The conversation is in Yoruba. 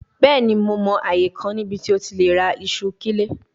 Bẹẹni Mo mọ aaye kan nibiti o ti le ra iṣu kile